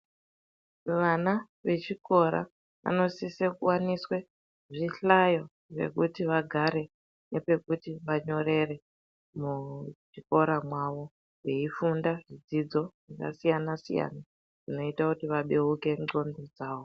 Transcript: Vana vechikora vanosise kuwaniswe zvihlayo zvekuti vagare, nepekuti vanyorere muzvikora mwavo, veifunda dzidzo yakasiyana-siyana, inoita kuti vabeuke ndxondo dzavo.